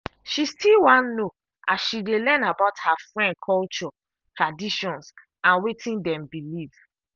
she still wan no as she dey learn about her friend culture traditions and wetin dem believe.